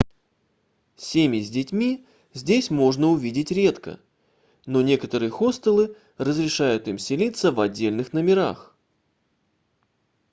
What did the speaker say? cемьи с детьми здесь можно увидеть редко но некоторые хостелы разрешают им селится в отдельных номерах